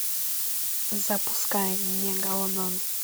запускай мегалодон